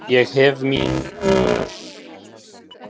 Ég hef mín ör.